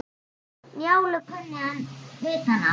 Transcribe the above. Njálu kunni hann utan að.